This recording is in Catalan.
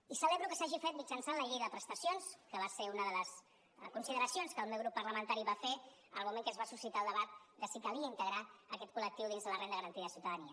i celebro que s’hagi fet mitjançant la llei de prestacions que va ser una de les consideracions que el meu grup parlamentari va fer en el moment que es va suscitar el debat de si calia integrar aquest col·lectiu dins la renda garantida de ciutadania